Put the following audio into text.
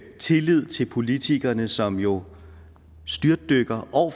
tillid til politikerne som jo styrtdykker år